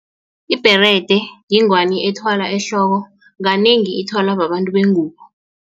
Ibherede yingwani ethwalwa ehloko kanengi ithwalwa babantu bengubo.